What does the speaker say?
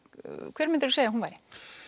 hver myndirðu segja að hún væri